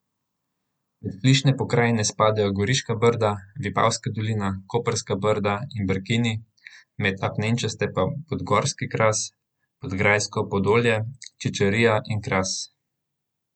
Med flišne pokrajine spadajo Goriška brda, Vipavska dolina, Koprska brda in Brkini, med apnenčaste pa Podgorski kras, Podgrajsko podolje, Čičarija in Kras.